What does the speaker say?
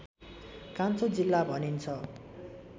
कान्छो जिल्ला भनिन्छ